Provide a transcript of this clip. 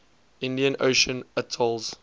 indian ocean atolls